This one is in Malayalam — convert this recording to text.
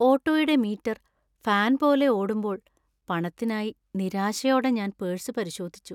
ഓട്ടോയുടെ മീറ്റർ ഫാൻ പോലെ ഓടുമ്പോൾ പണത്തിനായി നിരാശയോടെ ഞാൻ പേഴ്സ് പരിശോധിച്ചു.